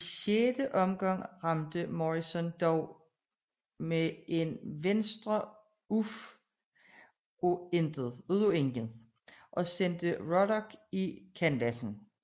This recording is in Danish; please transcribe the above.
I 6 omgang ramte Morrison dog med en venstre uf af intet og sendte Ruddock i kanvassen